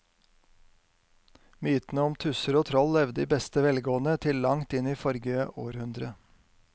Mytene om tusser og troll levde i beste velgående til langt inn i forrige århundre.